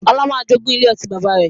Ọlá máa jogún ilé ọtí bàbá rẹ̀